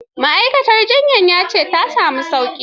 Ma'aikaciyar jiyyar ta ce ya na samun sauƙi.